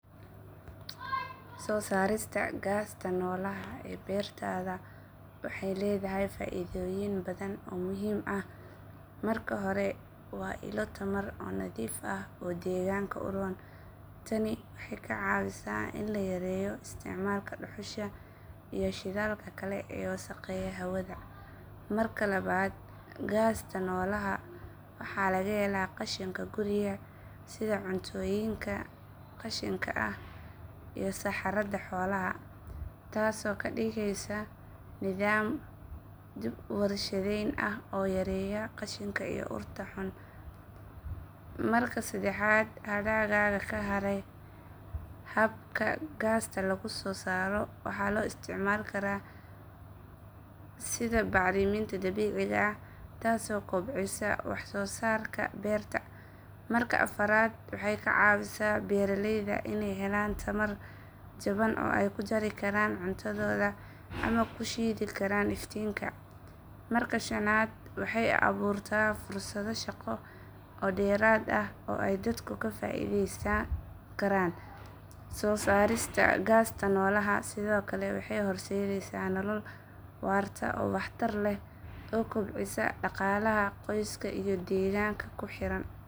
Sosarta gaasta nolaha bertada waxay ledahay faidoyin badhan oo muhim ah, marka hore waa ila tamar oo nadif ah oo deganka uron, tani waxay kacawisa ini layareyo istacmalka duxusha iyo shidalka kale ee wasaqeyah hawada marka labad gasta nolaha waxa lagahela qashinka guriga sidha cuntoyinka qashinka ah, iyoh saxarada xolaha tasi oo kadigeysa nidam wadashireyn oo yaryar qashinka iyoh urta xun, marka sedaxad adadadha kaharo habta gaaska lagu sosaro waxa loo istacmali kara sidhaa bacriminta dabiciga ah tasi oo kobcisas waxsosarka berta, marka afarad waxay kacisa beraleyda inay helan tamar shidan aay kujari karan cuntadoda ama kushidi karan iftinka, marka shanad waxay aburta fusado shaqo derad ah oo aay dadku kafaideysan karan sosarista gastaa nolaha sidiokale waxay horsedeysa nolol warta oo waxtar leh oo kobcisa daqalaha qoyska iyo deganka.